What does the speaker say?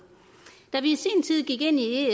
da vi i sin tid gik ind